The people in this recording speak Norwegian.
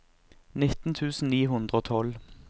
nitten tusen ni hundre og tolv